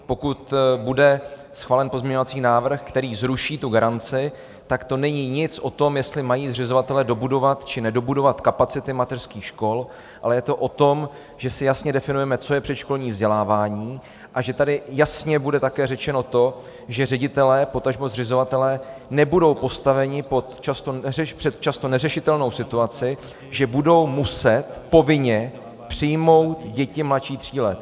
Pokud bude schválen pozměňovací návrh, který zruší tu garanci, tak to není nic o tom, jestli mají zřizovatelé dobudovat či nedobudovat kapacity mateřských škol, ale je to o tom, že si jasně definujeme, co je předškolní vzdělávání, a že tady jasně bude také řečeno to, že ředitelé, potažmo zřizovatelé nebudou postaveni před často neřešitelnou situaci, že budou muset povinně přijmout děti mladší tří let.